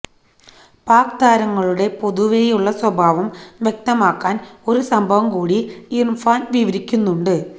പാക് താരങ്ങളുടെ പൊതുവെയുളള സ്വഭാവം വ്യക്തമാക്കാന് ഒരു സംഭവം കൂടി ഇര്ഫാന് വിവരിയ്ക്കുന്നുണ്ട്